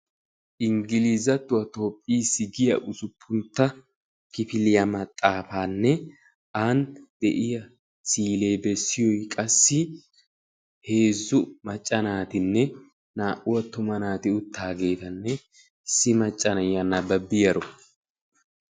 ingglizattuwan toophiisi giya maxaafaanne ani de'iya si'ilee beettiyoy heezzu macca naatanne naa'u attuma naati utaageetanne issi macca na'iya nabbabiyaro.